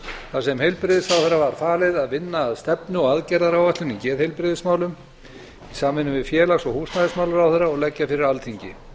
þar sem heilbrigðisráðherra var falið að vinna að stefnu og aðgerðaáætlun í geðheilbrigðismálum í samvinnu við félags og húsnæðismálaráðherra og leggja fyrir alþingi